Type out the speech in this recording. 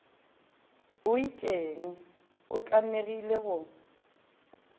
o itšeng o tlamegile go